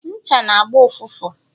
ncha n' agba ụfụfụ